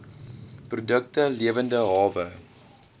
produkte lewende hawe